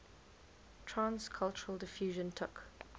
trans cultural diffusion took